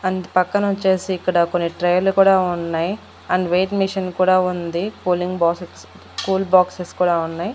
అంత పక్కనొచ్చేసి ఇక్కడ కొన్ని ట్రేలు కుడా ఉన్నయ్ అండ్ వెయిట్ మిషన్ కూడా ఉంది కూలింగ్ బాసస్ కూల్ బాక్సెస్ కూడా ఉన్నయ్.